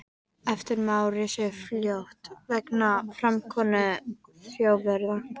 Eftirmál risu fljótt vegna framkomu Þjóðverja.